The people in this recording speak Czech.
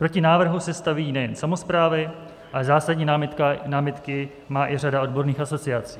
Proti návrhu se staví nejen samosprávy, ale zásadní námitky má i řada odborných asociací.